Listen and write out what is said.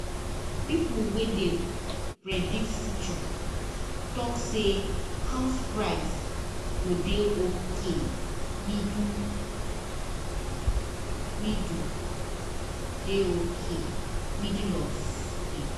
people wey dey predict future talk say house price go dey okay middle middle dey okay middle of year